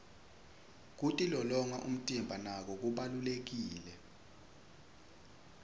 kitilolonya umtimba nako kubalulekile